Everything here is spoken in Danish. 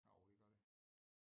Jo det gør det